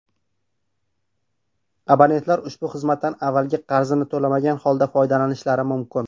Abonentlar ushbu xizmatdan avvalgi qarzini to‘lamagan holda foydalanishlari mumkin.